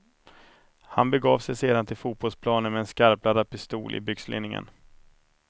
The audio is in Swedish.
Han begav sig sedan till fotbollsplanen med en skarpladdad pistol i byxlinningen.